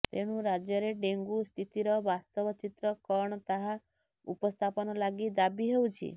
ତେଣୁ ରାଜ୍ୟରେ ଡେଙ୍ଗୁ ସ୍ଥିତିର ବାସ୍ତବ ଚିତ୍ର କଣ ତାହା ଉପସ୍ଥାପନ ଲାଗି ଦାବି ହେଉଛି